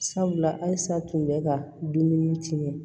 Sabula halisa tun bɛ ka dumuni tiɲɛ